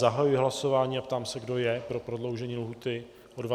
Zahajuji hlasování a ptám se, kdo je pro prodloužení lhůty o 20 dní.